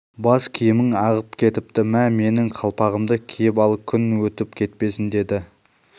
бас киімің ағып кетіпті мә менің қалпағымды киіп ал күн өтіп кетпесін деді